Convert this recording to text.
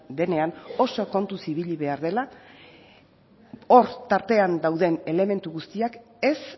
denean oso kontuz ibili behar dela hor tartean dauden elementu guztiak ez